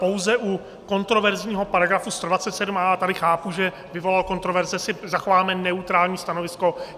Pouze u kontroverzního paragrafu 127a - tady chápu, že vyvolal kontroverze - si zachováme neutrální stanovisko.